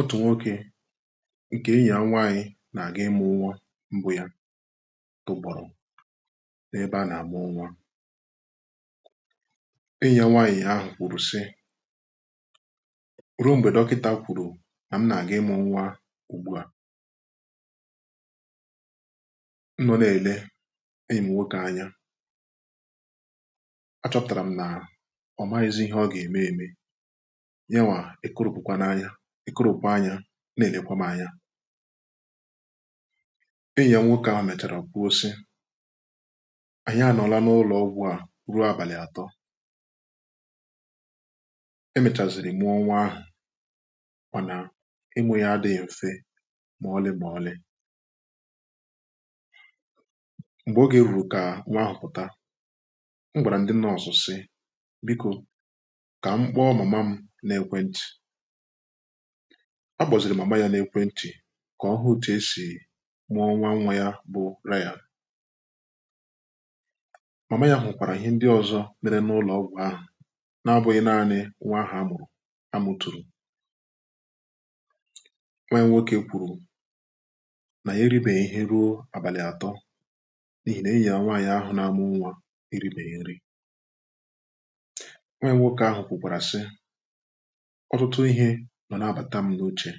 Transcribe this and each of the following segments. otù nwokē ǹke enyi ya nwaanyị nà-àga ịmụ̄ nwa gwa ya tọ̀gbọ̀rọ̀ n’ebe a nà-àmụ nwa enyì ya nwaanyị ahụ̀ kwùrù sị ruo m̀gbè dọkịntà kwùrù nà m nà-àga ịmụ̄ nwa ùgbuà m nọ n’èle enyìm nwokē anya achọpụ̀tàràm n’ọ̀mahịzị ihe ọgà ème eme yawà èkoròpùkwa n’anya èkoròpù anyā n’ènekwa m anya enyì ya nwoke ahụ mèchàrà kwuo sị ànyị anọ̀la n’ụlọọgwụ̀ à ruo àbàlì àtọ emechàzị̀rị̀ mụọ nwa ahụ̀ mànà ịmụ̄ ya adịghị m̀fe mà òle mà òle m̀gbè ogè rùrù kà nwa ahụ̀ pụ̀ta m gwàrà ndị nọọsụ̀ sị biko kà m kpọọ màma mụ n’ekwentị̀ a kpọ̀zìrì màma yā n’ekwentị̀ kà ọhụ òtù esì mụọ nwa nwa yā bụ rayà màma yā hụ̀kwàrà ihe ndị ọ̀zọ mere n’ụlọ̀ọgwụ̀ ahụ̀ n’abụghị naanị nwa ahụ̀ amụ̀rụ̀ amutùrù nwa ya nwokē kwùrù nà ya eribè ihe ruo àbàlì àtọ n’ihì n’enyì yā nwaanyị̀ ahụ̀ na-amụ nwa eribè nri nwa yā nwokē ahụ̀ kwùkwàrà sị ọ̀tụtụ ihē nọ̀ n’abàta m n’uchè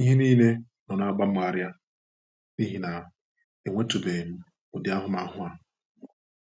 ihe niile nọ̀ na-àgba m arịa n’ihì nà èhutùbe m ụdị ahụmahụ à